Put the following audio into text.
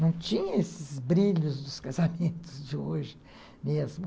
Não tinha esses brilhos dos casamentos de hoje mesmo.